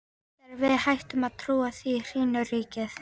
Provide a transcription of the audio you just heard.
Þegar við hættum að trúa því, hrynur ríkið!